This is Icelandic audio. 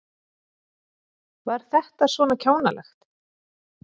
Var þetta svona kjánalegt?